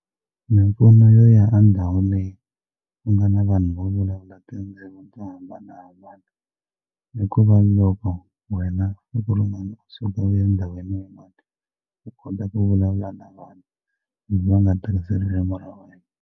Mimpfuno yo ya ka ndhawu leyi ku nga na vanhu vo vulavula tindzimi to hambanahambana i ku va loko wena siku rin'wana u suka u endhawini u kota ku vulavula na vona hambi va nga tirhisi ririmi ra wena.